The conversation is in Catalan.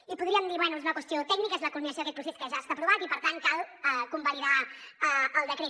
i podríem dir bé és una qüestió tècnica és la culminació d’aquest procés que ja està aprovat i per tant cal convalidar el decret